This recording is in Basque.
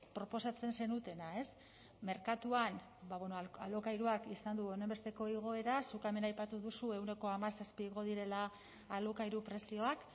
proposatzen zenutena merkatuan alokairuak izan du honenbesteko igoera zuk hemen aipatu duzu ehuneko hamazazpi igo direla alokairu prezioak